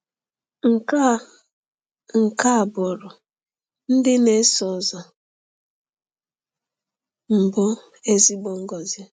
Nke a Nke a bụụrụ ndị na-eso ụzọ mbụ ezigbo ngọzi.